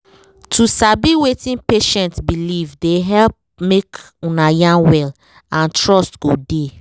to sabi wetin patient believe dey help make una yarn well and trust go dey